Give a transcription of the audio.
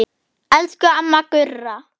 Elsku mamma Gurra.